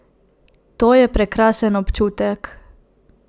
To je prekrasen občutek!